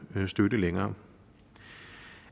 støtte længere